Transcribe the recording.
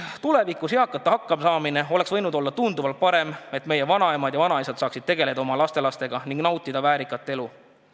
Tulevikus oleks eakate hakkamasaamine võinud olla tunduvalt parem, et meie vanaemad ja vanaisad saaksid tegeleda oma lastelastega ning nautida väärikat elu.